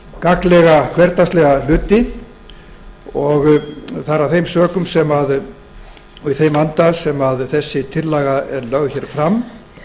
gagnlega og hversdagslega hluti það er af þeim sökum og í þeim anda sem þessi tillaga er lögð fram